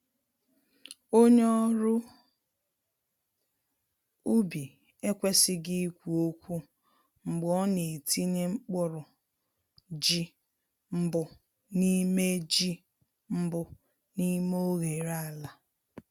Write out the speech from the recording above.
Onye ọrụ ubi ekwesịghị ikwu okwu mgbe ọ na-etinye mkpụrụ ji mbụ n’ime ji mbụ n’ime oghere ala.